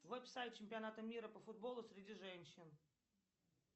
чемпионата мира по футболу среди женщин